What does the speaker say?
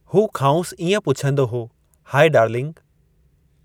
हू खांउसि इएं पुछंदो हो, हाइ डार्लिंग!